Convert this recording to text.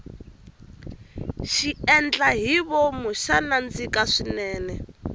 xiendlahivomu xa nandzika swinene